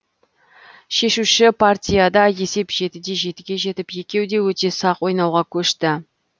шешуші партияда есеп жетіде жетіге жетіп екеуі де өте сақ ойнауға көшті